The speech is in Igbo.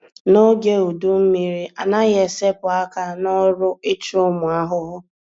N'oge udu mmiri, anaghị esepụ àkà n'ọrụ ichụ ụmụ ahụhụ